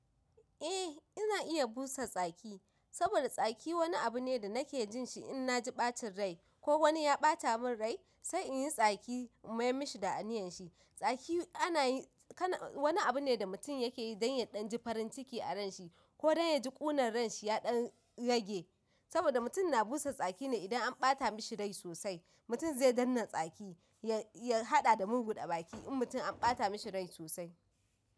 Eh ina iya busa tsaki, saboda tsaki wani abu ne da nake jin shi in na ji ɓacin rai ko wani ya ɓata mun rai sai in yi tsaki in mayar mashi da aniyyar shi. Tsaki ana yi, wani abu ne da mutum yake yi dan ya ɗan ji farin ciki a ranshi ko dan ya ji ƙunar ranshi ya ɗan rage. Saboda mutum na busa tsaki ne idan an ɓata mashi rai sosai. Mutum zai dannan tsaki ya haɗa da murguɗa baki in mutum an ɓata mashi rai sosai.